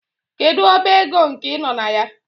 Kedu ọba ego nke ị nọ na ya?